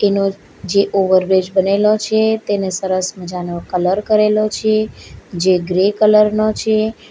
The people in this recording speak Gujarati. એનો જે ઓવર બ્રિજ બનેલો છે તેને સરસ મજાનો કલર કરેલો છે જે ગ્રે કલર નો છે.